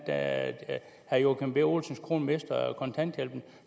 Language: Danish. gør at herre joachim b olsens kone mister kontanthjælpen